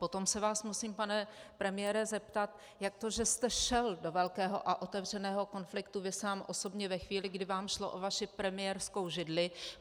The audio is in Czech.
Potom se vás musím, pane premiére, zeptat, jak to, že jste šel do velkého a otevřeného konfliktu vy sám, osobně, ve chvíli, kdy vám šlo o vaši premiérskou židli.